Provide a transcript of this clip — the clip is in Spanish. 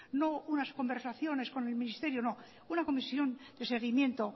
no unas conversaciones con el ministerio no una comisión de seguimiento